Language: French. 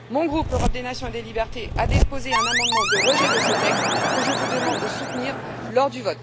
Mon groupe Europe des nations et des libertés a déposé un amendement de rejet de ce texte que je vous demande de soutenir lors du